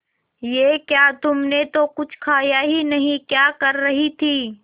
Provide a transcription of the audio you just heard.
ये क्या तुमने तो कुछ खाया ही नहीं क्या कर रही थी